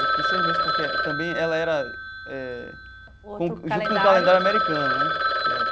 Eu fiquei seis meses porque também ela era eh junto com o calendário americano, né? Que é.